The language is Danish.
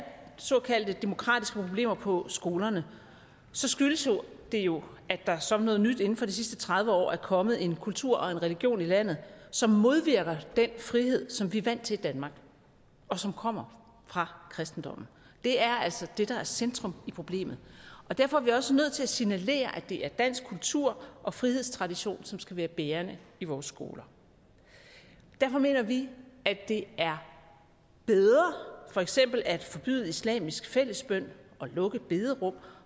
såkaldte demokratiske problemer på skolerne skyldes det jo at der som noget nyt inden for de sidste tredive år er kommet en kultur og en religion i landet som modvirker den frihed som vi er vant til i danmark og som kommer fra kristendommen det er altså det der er centrum i problemet og derfor er vi også nødt til at signalere at det er dansk kultur og frihedstradition som skal være bærende i vores skoler derfor mener vi at det er bedre for eksempel at forbyde islamisk fællesbøn lukke bederum